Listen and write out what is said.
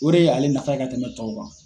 O de y'ale nafa ye ka tɛmɛ tɔw kan.